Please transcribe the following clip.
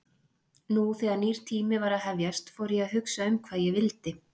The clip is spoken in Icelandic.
Nú þegar nýr tími var að hefjast fór ég að hugsa um hvað ég vildi.